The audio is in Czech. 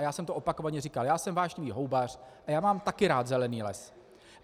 A já jsem to opakovaně říkal, já jsem vášnivý houbař a já mám taky rád zelený les.